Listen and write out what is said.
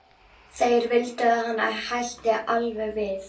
Þeir vildu að hann hætti alveg við